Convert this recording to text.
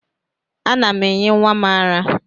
Ana m enye nwa m ara